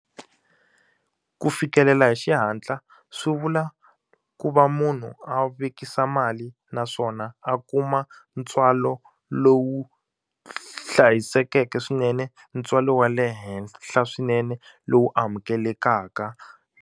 Ku fikelela hi xihatla swi vula ku va munhu a vekisa mali naswona a kuma ntswalo lowu hlayisekeke swinene ntswalo wa le henhla swinene lowu amukelekaka.